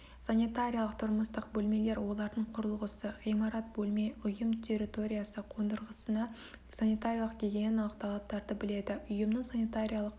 санитариялық тұрмыстық бөлмелер олардың құрылғысы ғимарат бөлме ұйым территориясы қондырғысына санитариялық гигиеналық талаптарды біледі ұйымның санитариялық